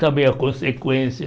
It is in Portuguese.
Também a consequência.